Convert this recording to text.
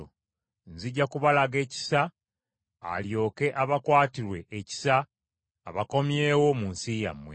Nzija kubalaga ekisa alyoke abakwatirwe ekisa, abakomyewo mu nsi yammwe.’